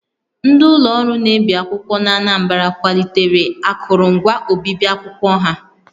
Ndị ụlọ ọrụ na-ebi akwụkwọ n'Anambra kwalitere akụrụngwa obibi akwụkwọ ha